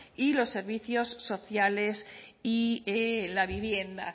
y los servicios sociales y la vivienda